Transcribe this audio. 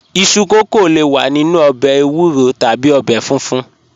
Iṣu kókó le wà nínu òbè èwúrò tàbí òbè fúnfún